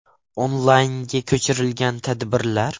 Onlaynga ko‘chirilgan tadbirlar: ?